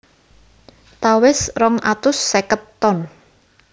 Tawes rong atus seket ton